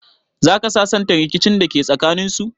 Zaka sasanta rikicin dake tsakaninsu?